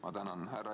Ma tänan!